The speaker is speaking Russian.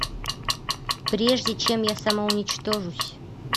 прежде чем я самоуничтожусь